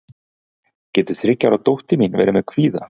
getur þriggja ára dóttir mín verið með kvíða